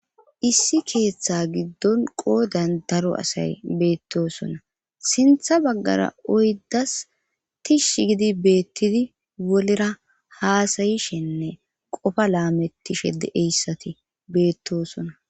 issi keeththa giddon qoodan daro asay beettosona sintha baggara oyddas tish gidi beettidi wolera haasayishenne qofa laamettishe de'eyssati beettosona